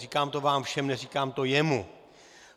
Říkám to vám všem, neříkám to jemu.